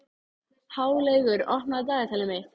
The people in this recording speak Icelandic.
Háleygur, opnaðu dagatalið mitt.